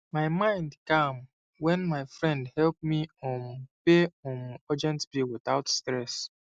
my mind calm when my friend help me um pay um urgent bill without stress